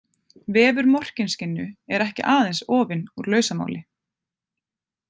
Vefur Morkinskinnu er ekki aðeins ofinn úr lausamáli.